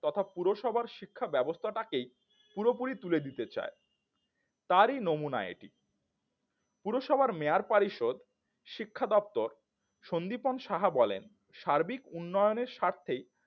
তথা পুরসভার শিক্ষা ব্যবস্থাটাকে পুরোপুরি তুলে দিতে চায় তারই নমুনা এটি পুরসভার mayor পরিষদ শিক্ষা দপ্তর সন্দীপন সাহা বলেন সার্বিক উন্নয়নের স্বার্থেই